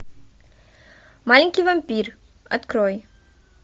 маленький вампир открой